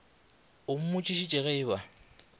o mmotšišitše ge e ba